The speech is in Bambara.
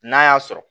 N'a y'a sɔrɔ